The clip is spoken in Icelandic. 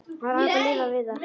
Það var hægt að lifa við það.